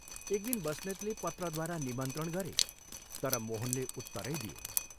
एकदिन बस्नेतले पत्रद्वारा निमन्त्रण गरे तर मोहनले उत्तरै दिएन।